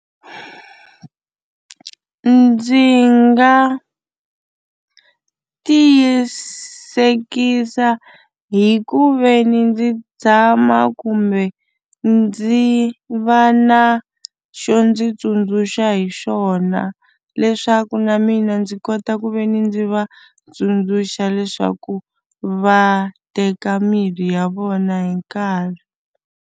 Ndzi nga tiyisekisa hi ku ve ni ndzi tshama kumbe ndzi va na xo ndzi tsundzuxa hi xona leswaku na mina ndzi kota ku ve ni ndzi va tsundzuxa leswaku va teka mirhi ya vona hi nkarhi.